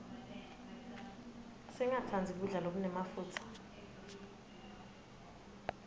singatsandzi kudla lokunemafutsa